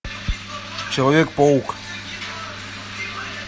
человек паук